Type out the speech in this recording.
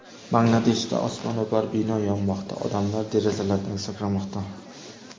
Bangladeshda osmono‘par bino yonmoqda: odamlar derazalardan sakramoqda .